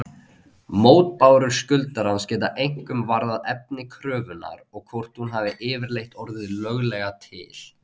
Mótbárur skuldarans geta einkum varðað efni kröfunnar og hvort hún hafi yfirleitt orðið löglega til.